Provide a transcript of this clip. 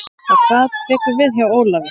Hvað tekur við hjá Ólafi?